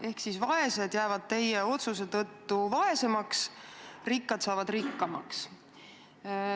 Ehk siis vaesed jäävad teie otsuse tõttu vaesemaks, rikkad saavad rikkamaks.